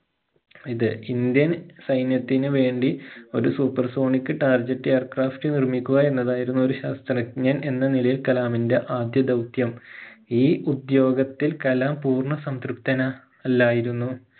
ഇത് indian സൈന്യത്തിന് വേണ്ടി ഒരു super sonic target aircraft നിർമ്മിക്കുക എന്നതായിരുന്നു ഒരു ശാസ്ത്രജ്ഞൻ എന്ന നിലയിൽ കലാമിന്റെ ആദ്യ ദൗത്യം ഈ ഉദ്യോഗത്തിൽ കലാം പൂർണ്ണ സംതൃപ്തൻ അല്ലായിരുന്നു